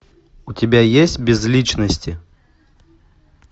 у тебя есть без личности